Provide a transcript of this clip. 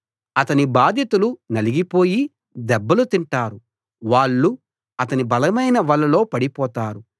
అతని బాధితులు నలిగిపోయి దెబ్బలు తింటారు వాళ్ళు అతని బలమైన వలల్లో పడిపోతారు